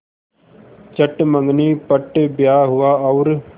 चट मँगनी पट ब्याह हुआ और